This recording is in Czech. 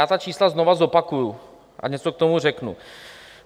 Já ta čísla znova zopakuji a něco k tomu řeknu.